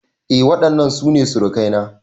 Eh waɗannan su ne surukai na